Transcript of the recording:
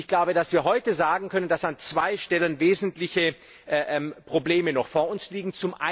Ich glaube, dass wir heute sagen können, dass an zwei Stellen wesentliche Probleme noch vor uns liegen.